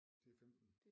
Det er 15